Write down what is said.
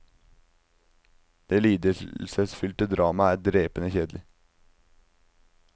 Det lidelsesfylte dramaet er drepende kjedelig.